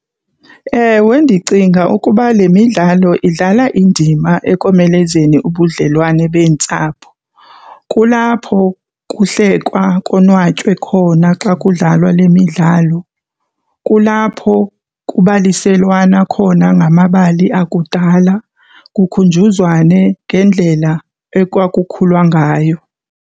Ewe ndicinga ukuba le midlalo idlala indima ekomelezeni ubudlelwane beentsapho. Kulapho kuhlekwa konwatywe khona xa kudlalwa le midlalo. Kulapho kubaliselwana khona ngamabali akudala, kukhunjuzwane ngendlela ekwakukhulwa ngayo.